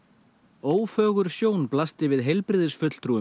ófögur sjón blasti við heilbrigðisfulltrúum